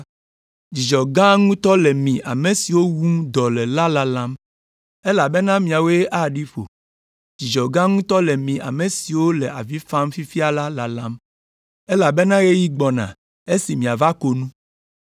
Dzidzɔ gã ŋutɔ le mi ame siwo wum dɔ le la lalam, elabena miawoe aɖi ƒo. Dzidzɔ gã ŋutɔ le mi ame siwo le avi fam fifia la lalam, elabena ɣeyiɣi gbɔna esi miava ko nu.